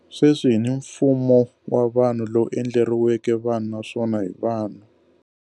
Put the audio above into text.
Sweswi hi ni mfumo wa vanhu, lowu endleriweke vanhu, naswona hi vanhu.